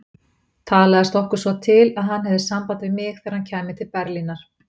Talaðist okkur svo til, að hann hefði samband við mig, þegar hann kæmi til Berlínar.